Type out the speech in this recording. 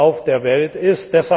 wo auf der Welt, ist.